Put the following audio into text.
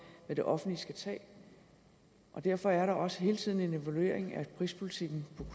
hvad det offentlige skal tage og derfor er der også hele tiden en evaluering af prispolitikken